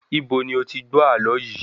Ibo ni o ti gbó àlọ yìí?